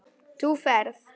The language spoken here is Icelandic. Þú ferð.